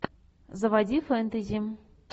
заводи фэнтези